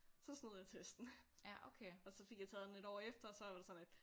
Så snød jeg testen og så fik jeg taget den et år efter og så var det sådan lidt